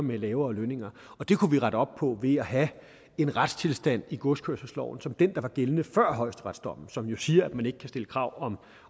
med lavere lønninger det kunne vi rette op på ved at have en retstilstand i godskørselsloven som den der var gældende før højesteretsdommen som jo siger at man ikke kan stille krav